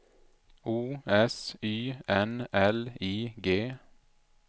O S Y N L I G